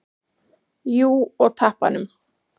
Jú, og tappanum.